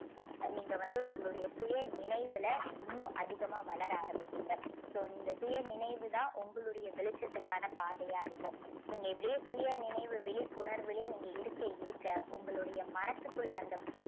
நீங்க வந்து உங்களுடைய சுயநினைவுல இன்னும் அதிகமா வளர ஆரம்பிப்பீங்க. so இந்த சுய நினைவு தான் உங்களுடைய வெளிச்சத்துக்கான பாதையா இருக்கும். நீங்க இப்படியே சுயநினைவு விழிப்புணர்விலேயே நீங்க இருக்க இருக்க உங்களுடைய மனசுக்குள்ள அந்த